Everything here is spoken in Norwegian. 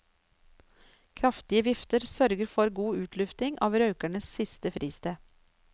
Kraftige vifter sørger for god utlufting av røkernes siste fristed.